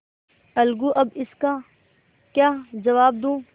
अलगूअब इसका क्या जवाब दूँ